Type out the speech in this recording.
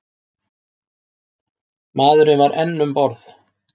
Maðurinn var enn um borð.